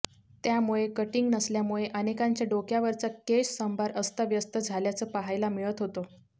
त्यामुळे कटिंग नसल्यामुळे अनेकांच्या डोक्यावरचा केशसंभार अस्ताव्यस्त झाल्याचं पाहायला मिळत होतं